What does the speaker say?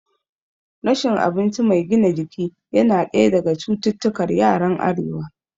Rashin abinci mai gina jiki yana ɗaya daga cikin cututtukar yaran arewa